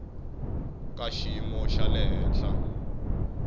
ka xiyimo xa le henhla